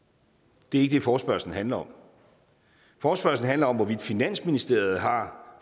det er ikke det forespørgslen handler om forespørgslen handler om hvorvidt finansministeriet har